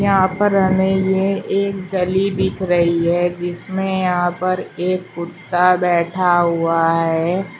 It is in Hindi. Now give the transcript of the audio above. यहां पर हमें ये एक गली दिख रही है जिसमें यहां पर एक कुत्ता बैठा हुआ है।